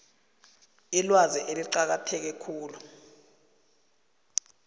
ilwazi eliqakatheke khulu